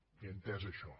he entès això